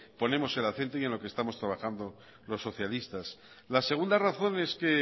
ponemos el acento y en lo que estamos trabajando los socialistas la segunda razón es que